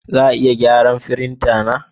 Za a iya gyara firinta na?